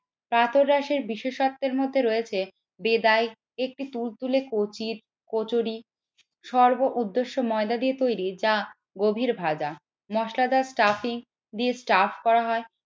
কাতরাসের বিশেষত্বের মধ্যে রয়েছে বেদায়িক একটি তুলতুলে কচির কচুরি সর্ব উদ্দেশ্য ময়দা দিয়ে তৈরি যা গভীর ভাজা মসলাদার ট্রফি দিয়ে স্টাফ করা হয়।